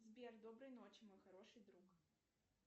сбер доброй ночи мой хороший друг